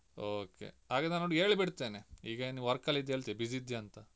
Okay ಹಾಗಾದ್ರೆ ನಾನ್ ಅವ್ನೊಟ್ಟಿಗೆ ಹೇಳಿ ಬಿಡ್ತೇನೆ ಈಗ ಏನು work ಅಲ್ಲಿದ್ಯ ಹೇಳ್ತೆ busy ಇದ್ಯಾಂತ.